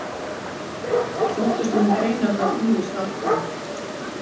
Þóttust menn greina þar ýmis atkvæði.